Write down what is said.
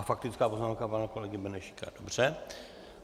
A faktická poznámka pana kolegy Benešíka, dobře.